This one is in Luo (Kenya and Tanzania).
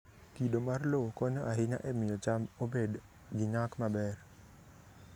Kido mar lowo konyo ahinya e miyo cham obed gi nyak maber.